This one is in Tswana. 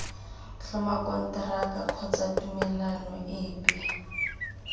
tlhoma konteraka kgotsa tumelelano epe